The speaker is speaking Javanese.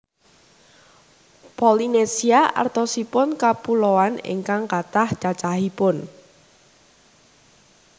Polynesia artosipun kapuloan ingkang kathah cacahipun